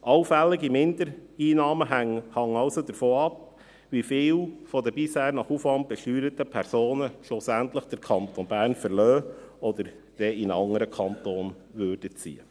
Allfällige Mindereinnahmen hängen also davon ab, wie viele der bisher nach Aufwand besteuerten Personen schlussendlich den Kanton Bern verlassen oder in einen anderen Kanton ziehen würden.